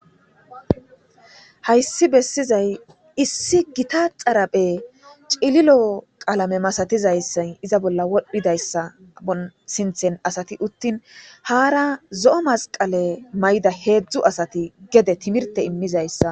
Hayssi bessizay issi gita xaraphe cililo qaalame masatizayssay iza bolla wodhdhidayssan xaphon sinthen asati uttin haara zo7o masqale mayda heedzdzu asati gede timirte immizayssa.